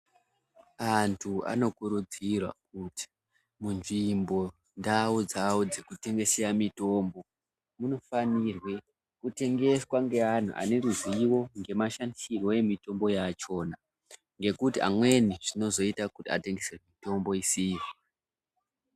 Anthu anokurudzirwa kuti munzvimbo ndau dzao dzekutengeswa mitombo munofanirwe kutengeswa ngeanthu ane ruzivo ngemashandisirwo emitombo yachona ngekuti amweni zvinozoita kuti atengese mitombo isiyo.